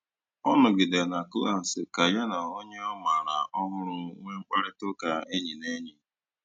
Ọ nọ̀gìdèrè na klas kà ya na ònyè ọ mààra ọ̀hụrụ́ nwéé mkpáịrịtà ụ́ka ényì na ényì.